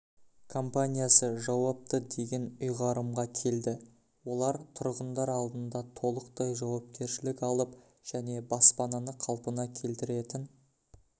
компаниясы жауапты деген ұйғарымға келді олар тұрғындар алдында толықтай жауапкершілік алып және баспананы қалпына келтіретін